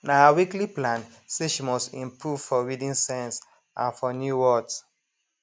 na her weekly plan say she must improve for reading sense and for new words